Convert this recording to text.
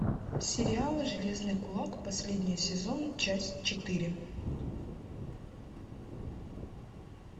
сериал железный кулак последний сезон часть четыре